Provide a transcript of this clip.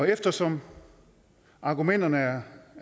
eftersom argumenterne er